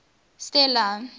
stella